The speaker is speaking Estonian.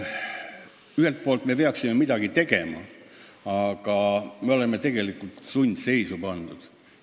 Ühelt poolt peaksime midagi tegema, aga oleme tegelikult sundseisu pandud.